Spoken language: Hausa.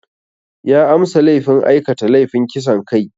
Ya amsa laifin aikata laifin kisan kai.